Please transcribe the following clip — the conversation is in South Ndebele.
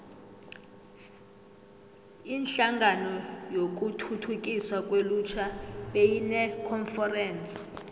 inhlangano yokuthuthukiswa kwelutjha beyinekonferense